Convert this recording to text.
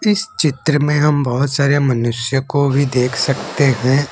इस चित्र में हम बहुत सारे मनुष्य को भी देख सकते हैं।